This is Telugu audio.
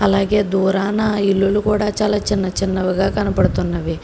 అలాగే దూరాన ఇల్లులు కూడా చాలా చిన్న చిన్నవిగా కనపడుతున్నవి.